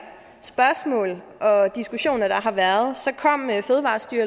spørgsmål og diskussioner der har været